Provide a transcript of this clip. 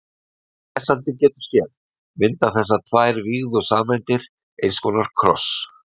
Eins og lesandinn getur séð mynda þessar tvær vígðu sameindir eins konar kross.